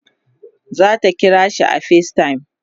zata kirashi a facetime